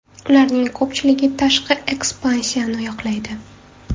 Ularning ko‘pchiligi tashqi ekspansiyani yoqlaydi.